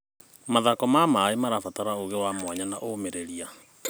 Mathako ma maĩ marabatara ũũgĩ wa mwanya na ũmĩrĩria.